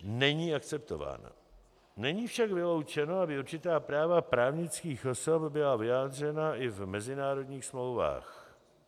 Není však vyloučeno, aby určitá práva právnických osob byla vyjádřena i v mezinárodních smlouvách.